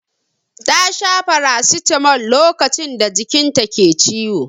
Ta sha farasitamol lokacin da jikin ta ke ciwo.